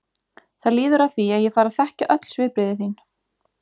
Það líður að því að ég fari að þekkja öll svipbrigði þín.